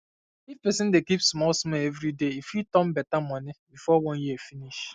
if person dey keep small small every day e fit turn better money before one year finish